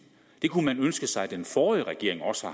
kunne man ønske sig den forrige regering også